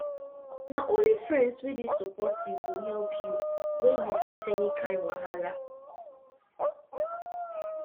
na only friends wey dey supportive go help you when you get any kain wahala